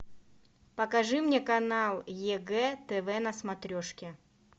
покажи мне канал егэ тв на смотрешке